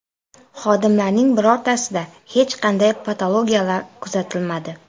Xodimlarning birortasida hech qanday patologiyalar kuzatilmadi.